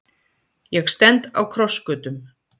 Ég stend á krossgötum.